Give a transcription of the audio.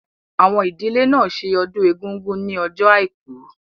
Àwọn ìdílé náà ṣe ọdún Egúngún ní ọjọ́ àìkú